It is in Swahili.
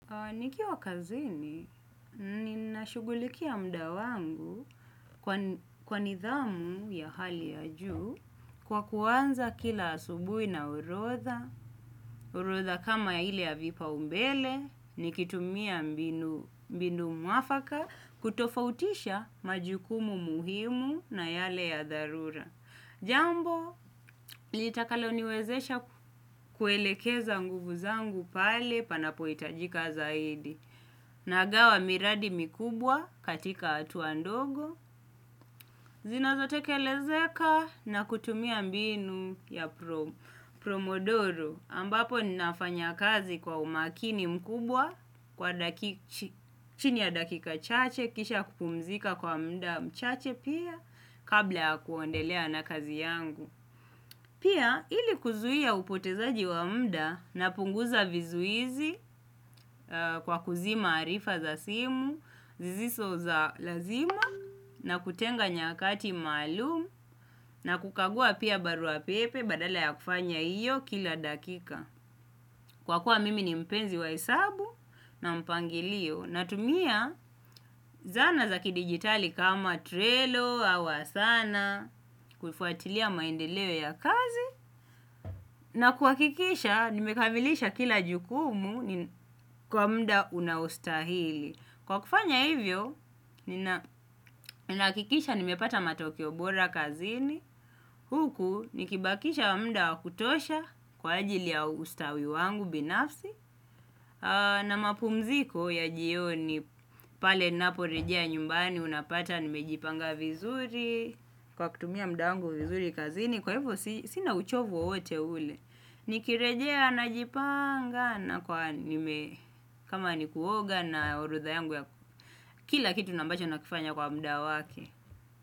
Nikiwa kazini, ninashughulikia muda wangu kwa nidhamu ya hali ya juu kwa kuanza kila asubuhi na orodha, orodha kama ile ya vipaumbele, nikitumia mbinu mwafaka, kutofautisha majukumu muhimu na yale ya dharura. Jambo litakaloniwezesha kuelekeza nguvu zangu pale panapohitajika zaidi. Nagawa miradi mikubwa katika hatua ndogo, zinazotekelezeka na kutumia mbinu ya promodoro ambapo ninafanya kazi kwa umakini mkubwa chini ya dakika chache, kisha kupumzika kwa muda mchache pia kabla ya kuendelea na kazi yangu. Pia ili kuzuia upotezaji wa muda, napunguza vizuizi kwa kuzima harifa za simu sisizo za lazima na kutenga nyakati maalum na kukagua pia barua pepe badala ya kufanya hiyo kila dakika. Kwa kuwa mimi ni mpenzi wa hesabu na mpangilio natumia zana za kidigitali kama trello, awa asana, kufuatilia maendeleo ya kazi na kuhakikisha nimekamilisha kila jukumu kwa muda unaostahili. Kwa kufanya hivyo, ninahakikisha nimepata matokeo bora kazini huku nikibakisha muda wa kutosha kwa ajili ya ustawi wangu binafsi na mapumziko ya jioni pale ninaporejea nyumbani unapata nimejipanga vizuri. Kwa kutumia muda wangu vizuri kazini kwa hivo sina uchovu wowote ule. Nikirejea najipanga nakuwa nime kama ni kuoga na orodha yangu ya kila kitu na ambacho nakifanya kwa muda wake.